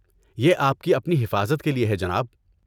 یہ آپ کی اپنی حفاظت کے لیے ہے جناب۔